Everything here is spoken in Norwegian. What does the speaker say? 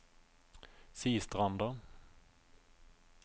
Sistranda